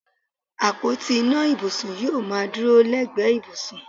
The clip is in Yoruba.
Àpótí ìná ibùsùn yóò máa dúró lẹ́gbẹ̀ẹ́ ibùsùn